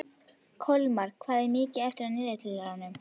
Kolmar, hvað er mikið eftir af niðurteljaranum?